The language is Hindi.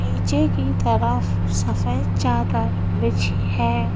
नीचे की तरफ सफेद चादर बिछी है।